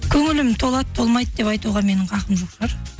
көңілім толады толмайды деп айтуға менің хақым жоқ шығар